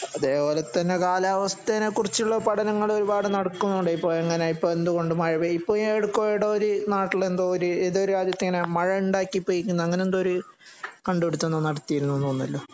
അതേ പോലെ തന്നെ കാലവസ്ഥനെ കുറിച്ച് ഉള്ള പഠനങ്ങൾ ഒരുപാട് നടക്കുന്നുണ്ട്. ഇപ്പം എങ്ങനെ ഇപ്പം എന്തുകൊണ്ട് മഴ പെയ്യുന്നു ഇപ്പോ അവിടെ ഏതോ ഒരു നാട്ടില് എന്തോ ഇത് ഏതോ രാജ്യത്ത് ഇങ്ങനെ മഴ ഉണ്ടാക്കി പെയ്യിക്കുന്നു അങ്ങനെ എന്തോ ഒരു കണ്ട് പിടിത്തം എന്തോ ഒന്നു നടത്തിയിരുന്നെന്ന്തോന്നിയല്ലോ